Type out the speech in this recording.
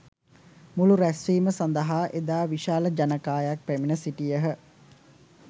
මුළු රැස්වීම සඳහා එදා විශාල ජනකායක් පැමිණ සිටියහ.